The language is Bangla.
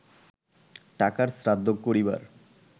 টাকার শ্রাদ্ধ করিবার